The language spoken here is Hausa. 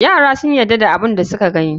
Yara sun yadda da abun da suka gani.